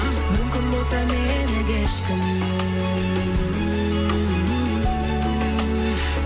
мүмкін болса мені кешкін